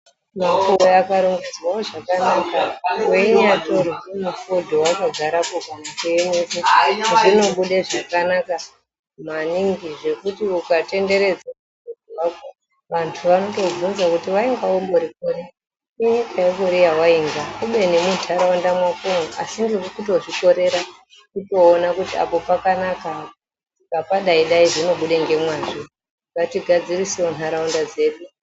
Mapuwe akarongedzwawo zvakanaka weinyatorwe mufodho wakagarepo zvinobude zvakanaka maningi zvekuti ukatenderedzwa vantu vanotobvunza kuti wainga umborikuri inyika yekuri yawainga kubeni munharaunda mwakomwo asi kuti urikutozvitorera kutoona kuti apo pakanaka apo tikapadai dai panonaka zvinobuda ngemwazvo ,ngatigadzirisewo nharaunda dzedu